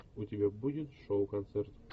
у тебя будет шоу концерт